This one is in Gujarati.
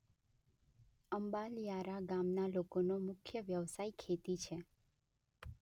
અંબાલીયારા ગામના લોકોનો મુખ્ય વ્યવસાય ખેતી છે.